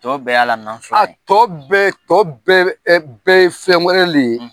Tɔ bɛɛ ye ala kan sɔsɔ a tɔ bɛɛ tɔ bɛɛ bɛɛ ye fɛn wɛrɛ de ye